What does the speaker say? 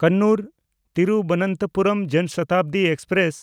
ᱠᱚᱱᱱᱩᱨ–ᱛᱤᱨᱵᱚᱱᱛᱚᱯᱩᱨᱚᱢ ᱡᱚᱱ ᱥᱚᱛᱟᱵᱫᱤ ᱮᱠᱥᱯᱨᱮᱥ